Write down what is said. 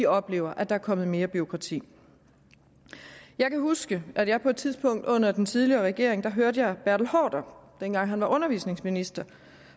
oplever at der er kommet mere bureaukrati jeg kan huske at jeg på et tidspunkt under den tidligere regering hørte bertel haarder dengang han var undervisningsminister